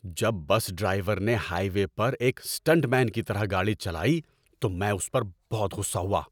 جب bus driver نے highway پر ایک اسٹنٹ مین کی طرح گاڑی چلائی تو میں اس پر بہت غصہ ہوا۔